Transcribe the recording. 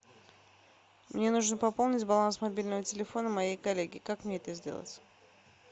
мне нужно пополнить баланс мобильного телефона моей коллеги как мне это сделать